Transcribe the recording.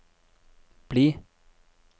bli